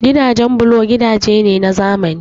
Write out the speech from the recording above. Gidajen bulo gidaje ne na zamani